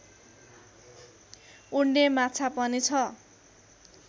उड्ने माछा पनि छ